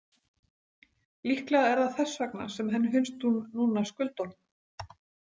Líklega er það þess vegna sem henni finnst hún núna skulda honum.